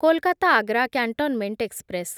Kolkata Agra cantonment express